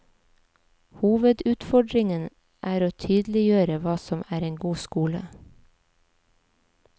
Hovedutfordringen er å tydeliggjøre hva som er en god skole.